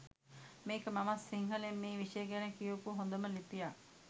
මේක මමත් සිංහලෙන් මේ විෂය ගැන කියවපු හොඳම ලිපියක්